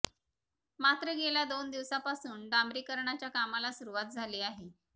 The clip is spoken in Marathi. मात्र गेल्या दोन दिवसापासून डांबरीकरणाच्या कामाला सूरूवात झाली आहे